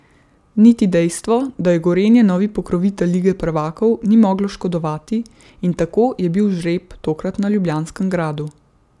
Niti dejstvo, da je Gorenje novi pokrovitelj lige prvakov, ni moglo škodovati, in tako je bil žreb tokrat na Ljubljanskem gradu.